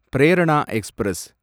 Prerana express